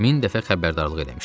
Min dəfə xəbərdarlıq eləmişdilər.